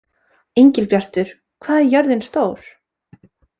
Engilbjartur, hvað er jörðin stór?